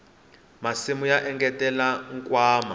masimu ya engetela nkwama